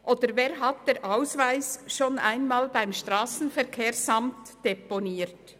Oder wer hat den Ausweis schon einmal beim Strassenverkehrsamt deponiert?